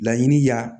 Laɲini ya